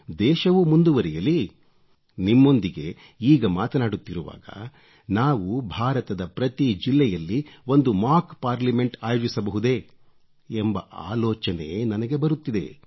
ದೇಶವೂ ಮುಂದುವರಿಯಲಿ ನಿಮ್ಮೊಂದಿಗೆ ಈಗ ಮಾತನಾಡುತ್ತಿರುವಾಗ ನಾವು ಭಾರತದ ಪ್ರತಿ ಜಿಲ್ಲೆಯಲ್ಲಿ ಒಂದು ಮಾಕ್ ಪಾರ್ಲಮೆಂಟ್ ಆಯೋಜಿಸಬಹುದೇ ಎಂಬ ಆಲೋಚನೆ ನನಗೆ ಬರುತ್ತಿದೆ